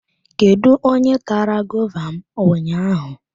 Kedu onye tara gova m ụnyaahụ?